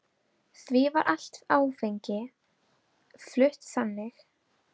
Því var allt áfengi flutt þannig.